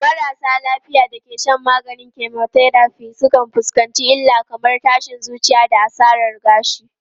Marasa lafiya da ke shan maganin chemotherapy sukan fuskanci illa kamar tashin zuciya da asarar gashi.